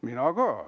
Mina ka!